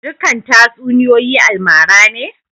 Dukan tatsuniyoyi almara ne?